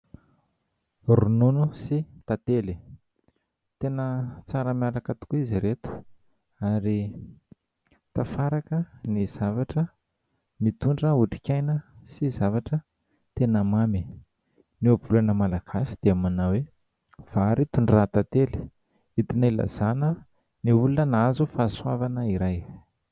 Ronono sy tantely. Tena tsara miaraka tokoa izy ireto ary tafiaraka ny zavatra mitondra otrik'aina sy zavatra tena mamy. Ny ohabolana malagasy dia manao hoe : vary tondrahan-tantely, entina ilazana ny olona nahazo fahasoavana iray.